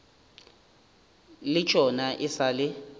le tšona e sa le